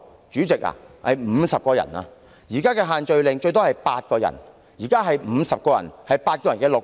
主席，那是50人，而在現行限聚令下，最多只容許8人聚集 ，50 人是8人的6倍。